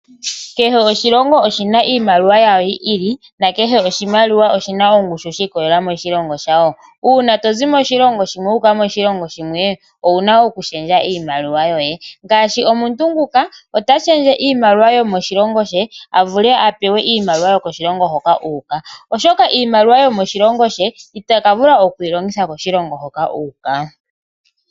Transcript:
Kehe oshilongo oshina iimaliwa yawo yi ili, na kehe oshimaliwa oshina ongushu shi ikolelela moshilongo shawo. Uuna tozi moshilongo shimwe wu uka moshilongo shimwe owuna oku shendja iimaliwa yoye. Omuntu ota shendje iimaliwa yo moshilongo she a vule a pewe iimaliwa yo koshilongo hoka uuka, oshoka iimaliwa yo moshilongo she itaka vula okuyi longitha koshilongo hoka uuka.